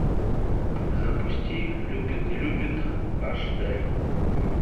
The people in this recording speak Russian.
запусти любит не любит аш д